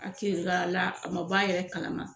A kiri l'a la a man b'a yɛrɛ kalama.